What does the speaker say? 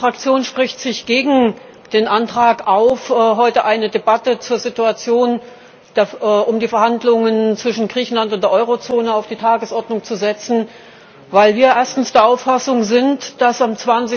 Meine Fraktion spricht sich gegen den Antrag aus, heute eine Debatte zur Situation um die Verhandlungen zwischen Griechenland und der Eurozone auf die Tagesordnung zu setzen, weil wir erstens der Auffassung sind, dass am